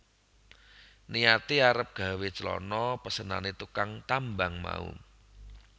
Niyate arep gawé clana pesenane tukang tambang mau